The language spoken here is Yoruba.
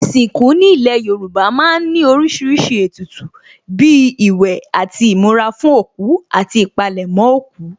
Ìsìnkú ní ilé Yorùbá má ń ní oríṣiríṣi ètùtù bíi ìwẹ̀ àti ìmura fún òkú àti ìpalẹ̀mọ́ òkú